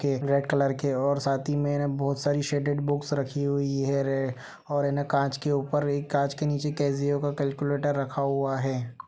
Red colour के और साथ ही में ना बहोत सारी शेडेड बुक्स रखी हुई है रे और है ना कांच के ऊपर और कांच के नीचे केसीओ का कैलकुलेटर रखा हुआ है।